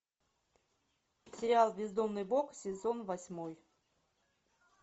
сериал бездомный бог сезон восьмой